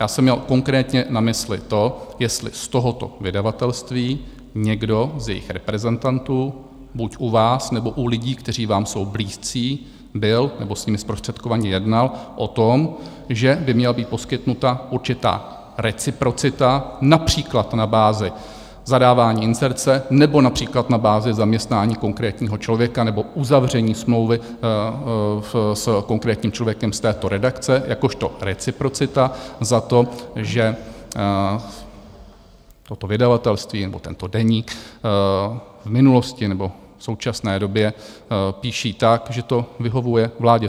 Já jsem měl konkrétně na mysli to, jestli z tohoto vydavatelství někdo z jejich reprezentantů buď u vás, nebo u lidí, kteří vám jsou blízcí, byl nebo s nimi zprostředkovaně jednal o tom, že by měla být poskytnuta určitá reciprocita, například na bázi zadávání inzerce nebo například na bázi zaměstnání konkrétního člověka nebo uzavření smlouvy s konkrétním člověkem z této redakce jakožto reciprocita za to, že toto vydavatelství nebo tento deník v minulosti nebo v současné době píší tak, že to vyhovuje vládě.